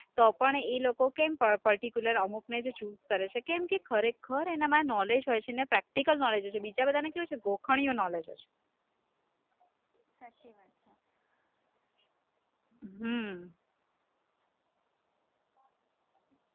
તો પણ એ લોકો કેમ particular અમુકને જ choose કરે છે, કેમકે ખરેખર એમનામાં knowledge હોય છે ને practical knowledge હોય છે, બીજા બધા ને કેવું હોય છે, ગોખણીયું knowledge હોય છે, હમ